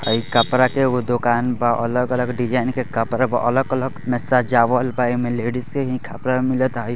High कपड़ा के एगो दुकान बा अलग-अलग डीजायन के कपड़ा बा अलग-अलग मे सजावल बा एमे लेडीजे के कपड़ा मिलता।